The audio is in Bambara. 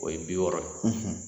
O ye bi wɔɔrɔ ye.